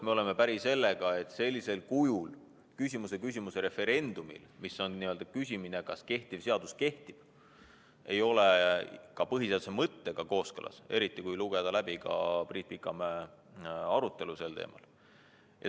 Me oleme päri ka sellega, et referendumil küsimuse küsimine sellisel kujul, kas kehtiv seadus kehtib, ei ole põhiseaduse mõttega kooskõlas, eriti kui lugeda läbi Priit Pikamäe selleteemaline arutelu.